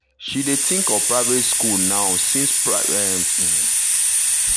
she dey think of public school now since private school money don too cost